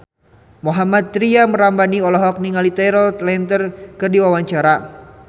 Mohammad Tria Ramadhani olohok ningali Taylor Lautner keur diwawancara